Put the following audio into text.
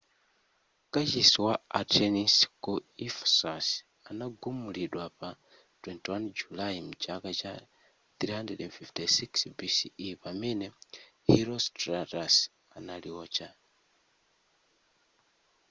kachisi wa artenis ku ephesus anagumulidwa pa 21 julayi mchaka cha 356 bce pamene herostratus analiotcha